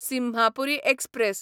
Simhapuri express